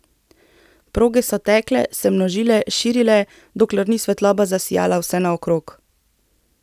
Proge so tekle, se množile, širile, dokler ni svetloba zasijala vsenaokrog.